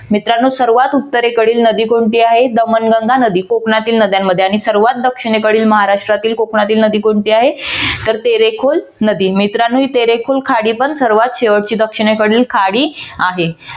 मित्रानो सर्वात उत्तरेकडील नदी कोणती आहे तर नर्मदा नदी कोकणातील नदी नद्यांमध्ये आणि सर्वात दक्षिणेकडील महाराष्ट्रातील कोकणातील नदी कोणती आहे तर तेरेकुल नदी मित्रानो ही तेरेकुल खाडी पण सर्वात शेवटची दक्षिणेकडील खाडी आहे.